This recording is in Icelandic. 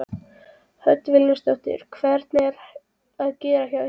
Hödd Vilhjálmsdóttir: Hvernig er að gera hjá ykkur?